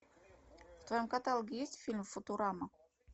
в твоем каталоге есть фильм футурама